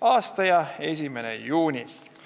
aasta 1. juunist.